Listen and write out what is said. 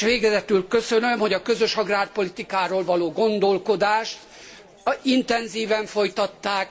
S végezetül köszönöm, hogy a közös agrárpolitikáról való gondolkodást intenzíven folytatták.